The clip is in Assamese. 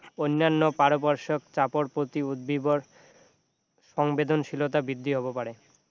অন্যান্য পাৰিপাৰ্শিক চাপৰ প্ৰতি উদ্ভিদৰ সংবেদনশীলতা বৃদ্ধি হব পাৰে